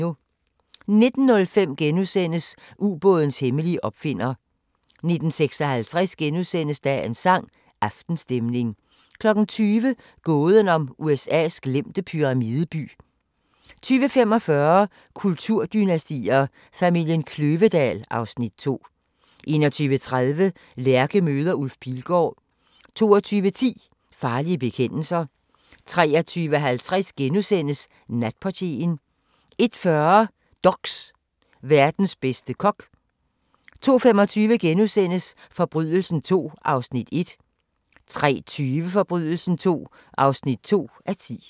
19:05: Ubådens hemmelige opfinder * 19:56: Dagens sang: Aftenstemning * 20:00: Gåden om USA's glemte pyramideby 20:45: Kulturdynastier: Familien Kløvedal (Afs. 2) 21:30: Lærke møder Ulf Pilgaard 22:10: Farlige bekendelser 23:50: Natportieren * 01:40: DOX: Verdens bedste kok 02:25: Forbrydelsen II (1:10)* 03:20: Forbrydelsen II (2:10)